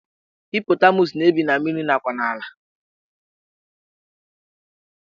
Hippotamus na-ebi na mmiri nakwa n'ala